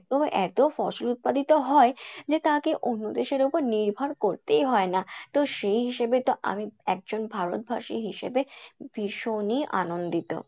এতো ফসল উৎপাদিত হয় যে তাকে অন্য দেশের ওপর নির্ভর করতেই হয় না তো সেই হিসেবে তো আমি একজন ভারতবাসী হিসেবে ভীষণই আনন্দিত।